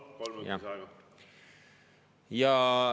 Palun, kolm minutit lisaaega!